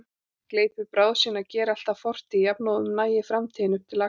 Gleypi bráð sína, geri allt að fortíð jafnóðum, nagi framtíðina upp til agna.